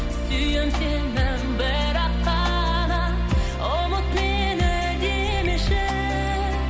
сүйем сені бірақ қана ұмыт мені демеші